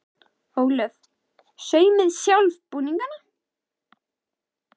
Ólöf: Saumið þið sjálf búningana?